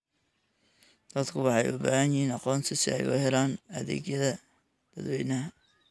Dadku waxay u baahan yihiin aqoonsi si ay u helaan adeegyada dadweynaha.